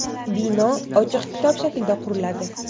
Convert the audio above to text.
Bino ochiq kitob shaklida quriladi.